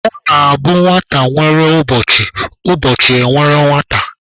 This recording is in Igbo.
Ọ na-abụ nwata nwere ụbọchị, ụbọchị e nwere nwata.